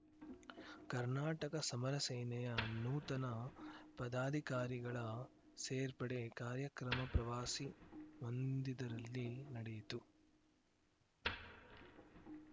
ಕರ್ನಾಟಕ ಸಮರ ಸೇನೆಯ ನೂತನ ಪದಾಧಿಕಾರಿಗಳ ಸೇರ್ಪಡೆ ಕಾರ್ಯಕ್ರಮ ಪ್ರವಾಸಿ ಮಂದಿದರಲ್ಲಿ ನಡೆಯಿತು